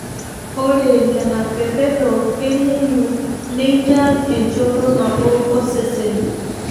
Ore nene pepedo kengeyu neinyal enchoto nabo osesen.